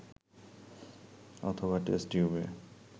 অথবা টেস্ট টিউবে